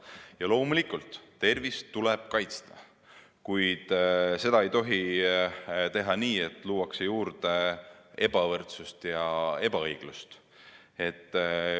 Ja loomulikult tuleb tervist kaitsta, kuid seda ei tohi teha nii, et luuakse juurde ebavõrdsust ja ebaõiglust.